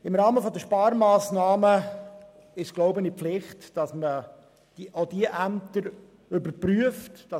Im Rahmen der Sparmassnahmen ist es eine Pflicht, auch diese Ämter zu überprüfen.